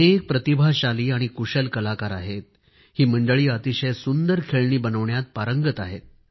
अनेक प्रतिभाशाली आणि कुशल कलाकार आहेत ही मंडळी अतिशय सुंदर खेळणी बनविण्यात पारंगत आहेत